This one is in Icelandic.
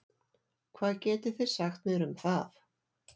Hvað getið þið sagt mér um það?